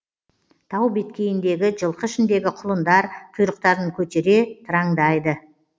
тау беткейіндегі жылқы ішіндегі құлындар құйрықтарын көтере тыраңдайды